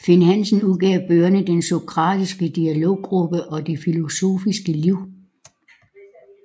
Finn Hansen udgav bøgerne Den sokratiske dialoggruppe og Det filosofiske liv